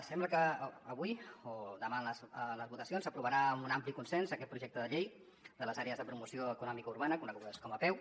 sembla que avui o demà en les votacions s’aprovarà amb un ampli consens aquest projecte de llei de les àrees de promoció econòmica urbana conegudes com a apeu